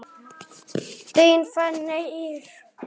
Þín Fanney Ýr.